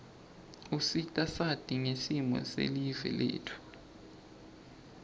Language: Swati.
usita sati ngesimo silive letfu